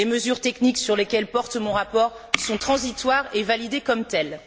Les mesures techniques sur lesquelles porte mon rapport sont transitoires et validées comme telles.